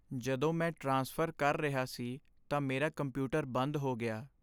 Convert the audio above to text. ਜਦੋਂ ਮੈਂ ਟ੍ਰਾਂਸਫ਼ਰ ਕਰ ਰਿਹਾ ਸੀ ਤਾਂ ਮੇਰਾ ਕੰਪਿਊਟਰ ਬੰਦ ਹੋ ਗਿਆ।